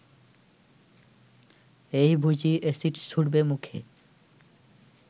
এই বুঝি অ্যাসিড ছুড়বে মুখে